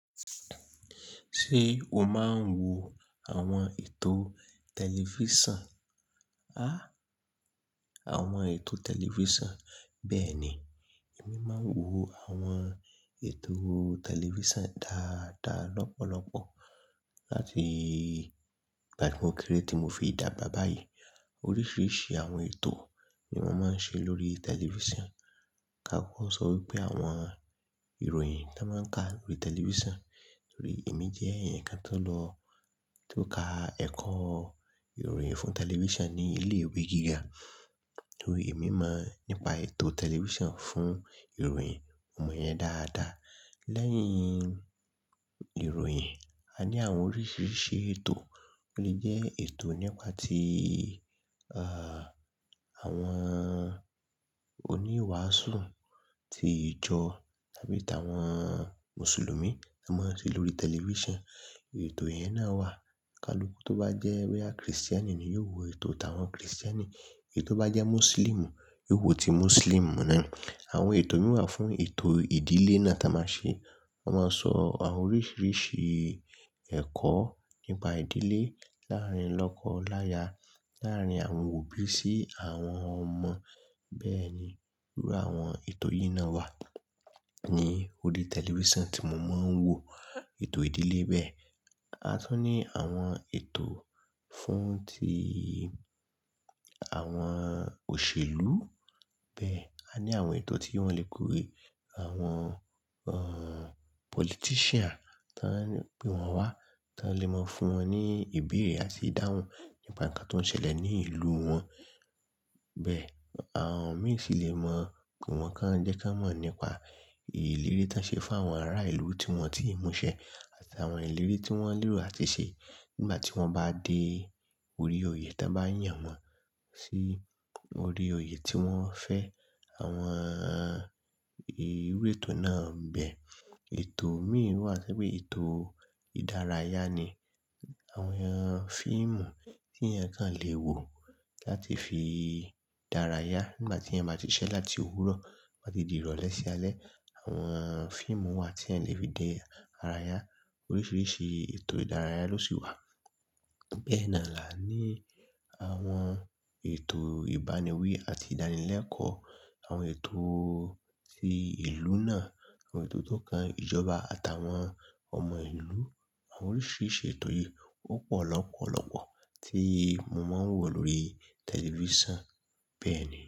Ṣé o máa ń wo àwọn ètò tẹlifíṣàn? ÀÁ! Àwọn ètò tẹlifíṣàn, bẹ́ẹ̀ ni. Èmi máa ń wo àwọn ètò tẹlifíṣàn dáadáa lọ́pọ̀lọpọ̀ láti ìgbà tí mo kéré tí mo fi dàgba báyìí. Oríṣiríṣi àwọn ètò ni wọ́n máa ń ṣe lórí tẹlifíṣàn. Ka kú sọ wípé àwọn ìròyìn tí wọ́n máa ń ka lórí tẹlifíṣàn, torí èmi jẹ́ ẹ̀yàn kan tó lọ, tó ka ẹ̀kọ́ ìròyìn fún tẹlifíṣàn ní ilé ìwé gíga, torí èmi mọ̀ nípa ètò tẹlifíṣàn fún ìròyìn, mo mọ̀ yẹ́n dáadáa. Lẹ́yìn ìròyìn, a ní àwọn oríṣiríṣi ètò. Ó lè jẹ́ ètò nípa tí, à, àwọn oníwàásù ti ìjọ tàbí tàwọn Mùsùlùmí to maa n ṣe lórí tẹlifíṣàn. Ètò yẹn náà wà. Ka luku tó bá jẹ́ boya Kristẹni ni, yóò wo ètò ta àwọn Kristẹni. Èyí tó bá jẹ́ Mùsùlùmí, yóò wo ti Mùsùlùmí na. Àwọn ètò mìíràn wà fún ètò ìdílé náà tí a máa ṣe. Wọ́n máa sọ àwọn oríṣiríṣi ẹ̀kọ́ nípa ìdílé láàárín lọ́kọláya, láàárín àwọn òbí sí àwọn ọmọ. Bẹ́ẹ̀ ni, irú àwọn ètò yìí náà wà ní orí tẹlifíṣàn tí mo máa ń wo, ètò ìdílé bẹ́ẹ̀. A tún ní àwọn ètò fún tí àwọn òṣèlú bẹ́ẹ̀. A ní àwọn ètò tí wọ́n lè kórè àwọn, ẹ́, politician tí wọ́n pe wọ́n wá, tí wọ́n lè mọ̀ fún wọn ní ìbéèrè àti ìdáhùn nípa nǹkan tó ń ṣẹlẹ̀ ní ìlú wọn bẹ́ẹ̀. Àwọn imi sì lè mọ̀ pe wọn, kàn jẹ́ kan mọ̀ nípa ìlérí tí wọ́n ṣe fún àwọn ará ìlú tí wọ́n ti ìmúṣẹ àti àwọn ìlérí tí wọ́n lérò àti ṣe, nígbà tí wọ́n bá dé orí oyè, to bá yàn wọ́n sí orí oyè tí wọ́n fẹ́. Àwọn ìrú ètò náà ń bẹ. Ètò imi wà tí wípé ètò ìdárayá ni. Àwọn fíìmù tí ẹyan kan le wò láti fi dárayá nígbà tí ẹ́yan bá ti ṣiṣẹ́ láti òwúrọ̀, abi ti di ìrọ̀lẹ́ sí alẹ́. Àwọn fíìmù wà tí ẹ́yan lè fi dẹ́ araya. Oríṣiríṣi ètò ìdárayá ló sì wà. Bẹ́ẹ̀ náà làá ní àwọn ètò ìbanìwí àti ìdánilẹ́kọ̀ọ́, àwọn ètò tí ìlú náà, àwọn ètò tó kan ìjọba àtàwọn ọmọ ìlú. Àwọn oríṣiríṣi ètò yìí ó pọ̀ lọ́pọ̀lọpọ̀ tí mo máa ń wo lórí tẹlifíṣàn, bẹ́ẹ̀ni.